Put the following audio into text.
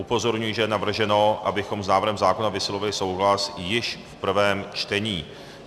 Upozorňuji, že je navrženo, abychom s návrhem zákona vyslovili souhlas již v prvém čtení.